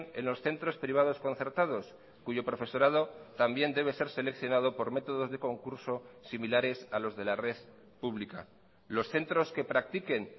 en los centros privados concertados cuyo profesorado también debe ser seleccionado por métodos de concurso similares a los de la red pública los centros que practiquen